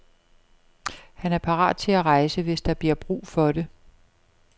Han er parat til at rejse, hvis der bliver brug for det.